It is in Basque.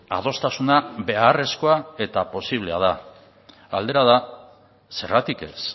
adostasuna beharrezkoa eta posiblea da galdera da zergatik ez